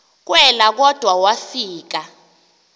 kelwa kodwa wafika